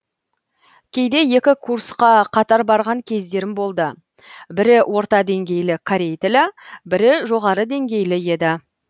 кейде екі курсқа қатар барған кездерім болды бірі орта деңгейлі корей тілі бірі жоғары деңгейлі еді